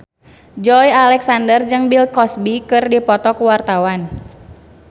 Joey Alexander jeung Bill Cosby keur dipoto ku wartawan